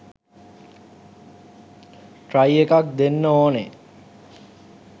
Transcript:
Try එකක් දෙන්න ඕනෙ.